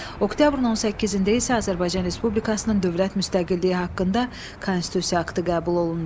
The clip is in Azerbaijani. Oktyabrın 18-də isə Azərbaycan Respublikasının dövlət müstəqilliyi haqqında konstitusiya aktı qəbul olundu.